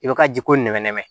I bɛ ka jiko nɛmɛ nɛmɛ